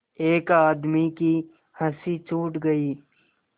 एक आदमी की हँसी छूट गई